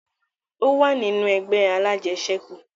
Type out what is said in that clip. Ó wà nínú ẹgbẹ́ alájẹṣẹ̀kù